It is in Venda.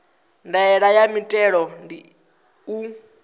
ndaela ya muthelo ndi u